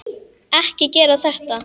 Ekki gera þetta.